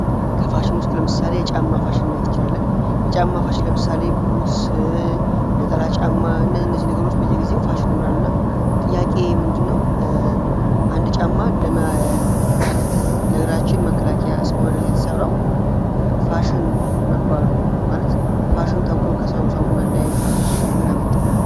ከፋሽን ለምሳሌ የጫማ ፋሽን ማየት እንችላለን። የጫማች ለምሳሌ ቡጽ ነጠላ ጫማ እነዚህ ነገሮች በየግዜው ፋሽን ይሆናሉና ጥያቄ ምንድነው አንድ ጫማ ለመግራችን መከላከያ የተሰራው ፋሽን መባሉ ማለት ፋሽን ተብሎ ከሰው ሰው መለያየቱ ምን አመጣው?